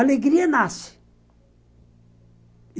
Alegria nasce.